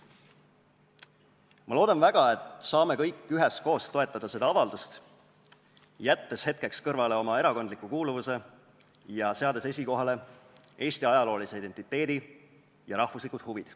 Ma loodan väga, et saame kõik üheskoos toetada seda avaldust, jättes hetkeks kõrvale oma erakondliku kuuluvuse ja seades esikohale Eesti ajaloolise identiteedi ja rahvuslikud huvid.